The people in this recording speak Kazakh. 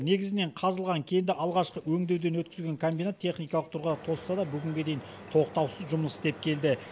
негізінен қазылған кенді алғашқы өңдеуден өткізген комбинат техникалық тұрғыда тозса да бүгінге дейін тоқтаусыз жұмыс істеп келді